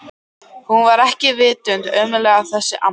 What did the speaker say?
Hún var ekki vitund ömmuleg þessi amma.